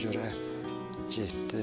Sevdiyinə görə getdi.